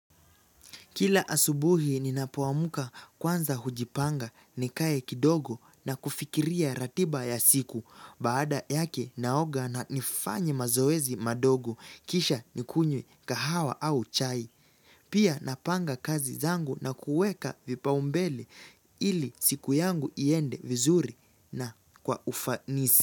Kila asubuhi ninapoamka kwanza hujipanga, nikae kidogo na kufikiria ratiba ya siku. Baada yake naoga na nifanye mazoezi madogo kisha nikunywe kahawa au chai. Pia napanga kazi zangu na kuweka vipaumbele ili siku yangu iende vizuri na kwa ufanisi.